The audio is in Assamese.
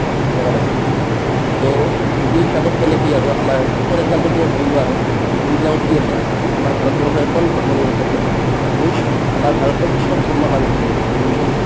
সেনেকা type ত to সেইটো হিচাপত মানে কি আৰু আমাৰ for example তুমি ভাবিলোৱা আৰু rule বিলাকত কি আছে আমাৰ ভাৰতবৰ্ষ এখন ধৰ্ম নিৰপেক্ষ দেশ means আমাৰ ভাৰতত চব ধৰ্মৰ মানুহ থাকিব পাৰে হিন্দু